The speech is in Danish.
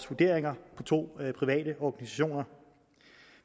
vurderinger på to private organisationer